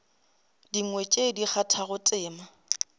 dingwe tše di kgathago tema